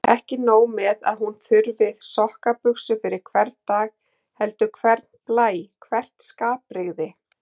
Ekki nóg með að hún þurfi sokkabuxur fyrir hvern dag heldur hvern blæ, hvert skapbrigði.